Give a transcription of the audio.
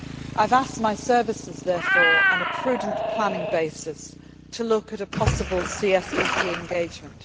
very carefully. I have asked my services, therefore, on a prudent planning basis, to look at a possible CSDP